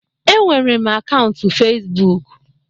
Enwere m akaụntụ Fezbụk.